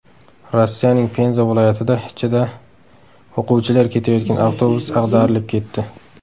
Rossiyaning Penza viloyatida ichida o‘quvchilar ketayotgan avtobus ag‘darilib ketdi.